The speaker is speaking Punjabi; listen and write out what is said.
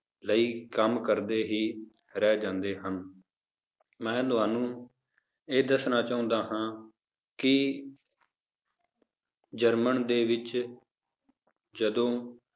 ਲਈ ਕੰਮ ਕਰਦੇ ਹੀ ਰਹਿ ਜਾਂਦੇ ਹਨ, ਮੈਂ ਤੁਹਾਨੂੰ ਇਹ ਦੱਸਣਾ ਚਾਹੁੰਦਾ ਹਾਂ ਕਿ ਜਰਮਨ ਦੇ ਵਿੱਚ ਜਦੋਂ